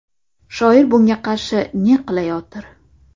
Shoir bunga qarshi ne qilayotir?